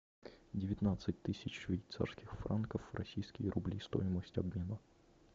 девятнадцать тысяч швейцарских франков в российские рубли стоимость обмена